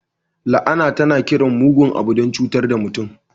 La'ana tana kiran mugun abu don cutar da mutum.